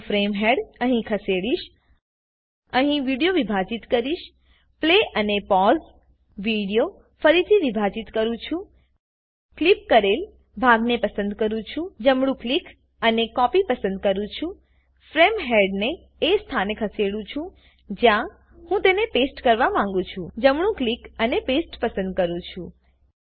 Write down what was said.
હું frame head અહીં ખસેડીશ અહીં વિડીયો વિભાજીત કરીશ પ્લે અને પોઝ વિડીયો ફરીથી વિભાજીત કરું છું ક્લીપ કરેલ ભાગને પસંદ કરું છું જમણું ક્લિક અને કોપી પસંદ કરું છું ફ્રેમ હેડને એ સ્થાને ખસેડું છું જ્યાં હું તેને પેસ્ટ કરવા માંગું છું જમણું ક્લિક અને પાસ્તે પસંદ કરું છું